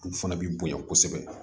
Olu fana bɛ bonya kosɛbɛ